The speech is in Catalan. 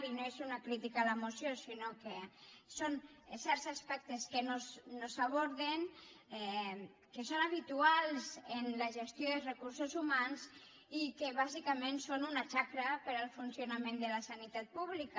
i no és una crítica a la moció sinó que són certs as·pectes que no s’aborden que són habituals en la gestió dels recursos humans i que bàsicament són una xacra per al funcionament de la sanitat pública